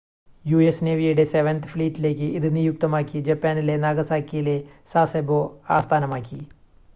US നേവിയുടെ seventh ഫ്ലീറ്റിലേക്ക് ഇത് നിയുക്തമാക്കി ജപ്പാനിലെ നാഗസാക്കിയിലെ സാസെബോ ആസ്ഥാനമാക്കി